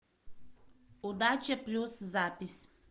удача плюс запись